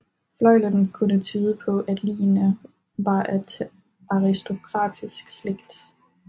Fløjlen kunne tyde på at ligene var af aristokratisk slægt